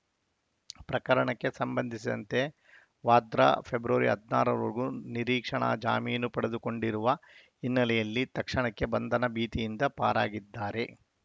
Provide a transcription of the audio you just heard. ಪ್ರಕರಣಕ್ಕೆ ಸಂಬಂಧಿಸಿದಂತೆ ವಾದ್ರಾ ಫೆಬ್ರವರಿ ಹದಿನಾರವರೆಗೂ ನಿರೀಕ್ಷಣಾ ಜಾಮೀನು ಪಡೆದುಕೊಂಡಿರುವ ಹಿನ್ನೆಲೆಯಲ್ಲಿ ತಕ್ಷಣಕ್ಕೆ ಬಂಧನ ಭೀತಿಯಿಂದ ಪಾರಾಗಿದ್ದಾರೆ